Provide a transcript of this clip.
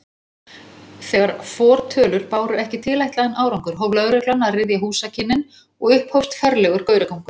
Þegar fortölur báru ekki tilætlaðan árangur, hóf lögreglan að ryðja húsakynnin og upphófst ferlegur gauragangur.